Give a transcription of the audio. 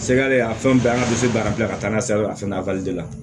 Sɛgɛ ale a fɛn bɛɛ an ka du bara bila ka taa n'a ye sira fɛ la